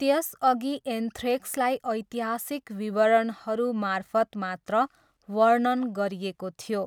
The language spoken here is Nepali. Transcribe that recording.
त्यसअघि एन्थ्रेक्सलाई ऐतिहासिक विवरणहरू मार्फत मात्र वर्णन गरिएको थियो।